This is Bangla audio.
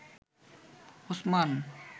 ওসমান